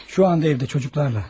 Hal-hazırda evdə uşaqlarla.